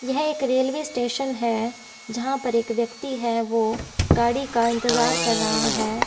यह एक railway station है जहां पर एक व्यक्ति है वो गाड़ी का इंतजार कर रहा है।